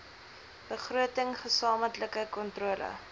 begroting gesamentlike kontrole